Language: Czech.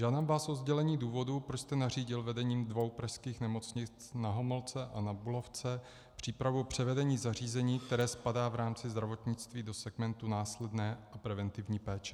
Žádám vás o sdělení důvodu, proč jste nařídil vedením dvou pražských nemocnic, Na Homolce a Na Bulovce, přípravu převedení zařízení, které spadá v rámci zdravotnictví do segmentu následné a preventivní péče.